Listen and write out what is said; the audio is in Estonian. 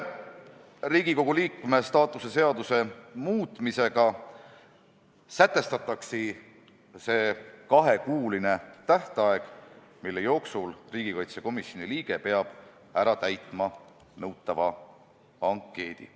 Riigikogu liikme staatuse seaduse muutmisega sätestatakse kahekuuline tähtaeg, mille jooksul riigikaitsekomisjoni liige peab nõutava ankeedi ära täitma.